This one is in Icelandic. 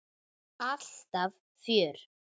Alltaf fjör.